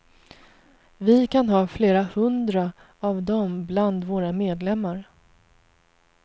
Vi kan ha flera hundra av dom bland våra medlemmar.